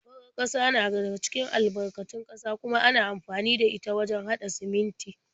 Farar ƙasa na daga cikin albarkatun ƙasa kuma ana amfani da ita wajen haɗa siminti.